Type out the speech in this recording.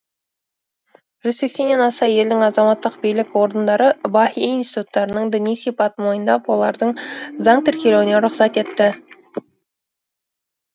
жүз сексеннен аса елдің азаматтық билік орындары баһаи институттарының діни сипатын мойындап олардың заңды тіркелуіне рұқсат етті